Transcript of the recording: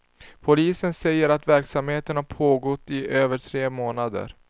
Polisen säger att verksamheten har pågått i över tre månader.